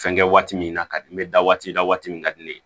Fɛn kɛ waati min na ka di n bɛ da waati la waati min ka di ne ye